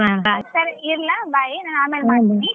ಸರಿ ಇಡ್ಲ bye ನಾ ಆಮೇಲ್ ಮಾಡ್ತೀನಿ.